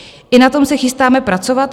I na tom se chystáme pracovat.